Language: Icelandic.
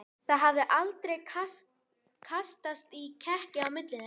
Það hafði aldrei kastast í kekki á milli þeirra.